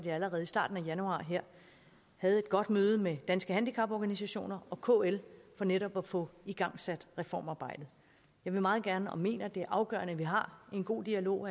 jeg allerede i starten af januar havde et godt møde med danske handicaporganisationer og kl for netop at få igangsat reformarbejdet jeg vil meget gerne og mener det er afgørende at vi har en god dialog